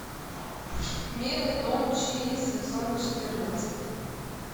милый дом чи сезон четырнадцать